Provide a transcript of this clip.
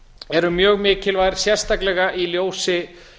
eru mjög mikilvægar sérstaklega í ljósi